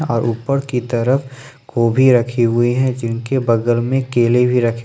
और ऊपर की तरफ गोभी रखी हुई है जिनके बगल में केले भी रखे --